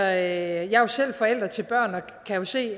er jo selv forælder til børn og kan se